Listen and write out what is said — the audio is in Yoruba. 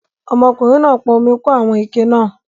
Ọmọkùnrin náà pọn omi kún àwọn ike náà